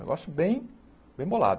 Negócio bem bem bolado.